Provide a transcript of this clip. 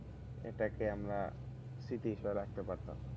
এটা কে আমরা স্মৃতি হিসাবে রাখতে পারতাম।